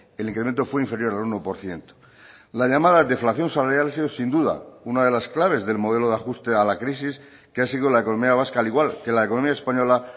el incremento fue inferior al uno por ciento la llamada deflación salarial ha sido sin duda una de las claves del modelo de ajuste a la crisis que ha sido la economía vasca al igual que la economía española